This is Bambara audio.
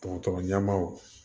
Dɔgɔtɔrɔ ɲɛmaw